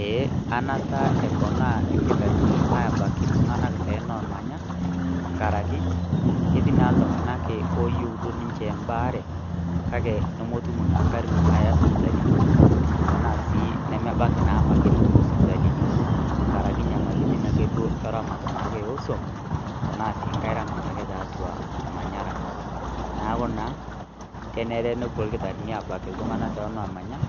Eeeh enaata eponaa irkitarini aabak iltung'anak tenoomanya ooyieu embaare kake nemetum naa ingarin tonomanya tenaa siii nemebaiki nepuo isipitalini ngaraki nyamalirit ake duo ooswam tenaa sii ngei ramatie ake tiatua ormanyara neeeku naa kenera nepuo irkitarini aabak iltung'anak tenoomanya